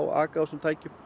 aka á þessum tækjum